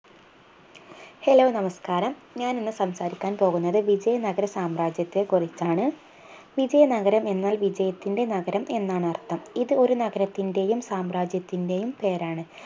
Hello നമസ്ക്കാരം ഞാനിന്ന് സംസാരിക്കാൻ പോകുന്നത് വിജയ നഗർ സാമ്രാജ്യത്തെ കുറിച്ചാണ് വിജയ നഗരം എന്നാൽ വിജയത്തിൻറെ നഗരം എന്നാണർത്ഥം ഇത് ഒരു നഗരത്തിൻറെയും സാമ്രാജ്യത്തിൻറെയും പേരാണ്